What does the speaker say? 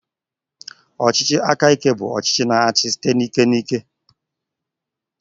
Ọchịchị aka ike bụ ọchịchị na-achị site n'ike na ike.